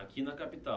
Aqui na capital.